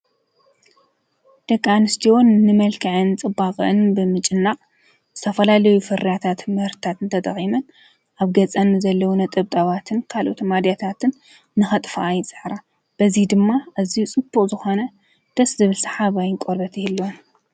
ደቂ ኣንስትዮ ንመልክዐን ጽባቀኣን ብምጭናቅ ዝተፈላለዩ ፍርያታትን ምህርትታት ተጠቂመን ኣብ ገጸን ዘለወን ነጠብጣባትን ካልኦት ማዳታትን ንከጥፍኣ ይጽዕራ፤ በዚ ድማ ኣዝዩ ጽቡቅ ዝኮነ ደስ ዝብል ሰሓባይ ቆርበት ይህልዎን።